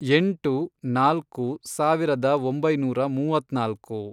ಎಂಟು, ನಾಲ್ಕು, ಸಾವಿರದ ಒಂಬೈನೂರ ಮೂವತ್ನಾಲ್ಕು